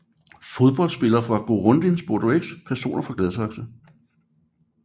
Fodboldspillere fra Girondins Bordeaux Personer fra Gladsaxe